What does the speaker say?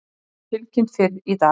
Aðdáunarverð staðfesta